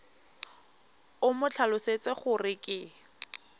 o mo tlhalosetse gore ke